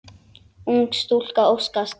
Ung stúlka óskast.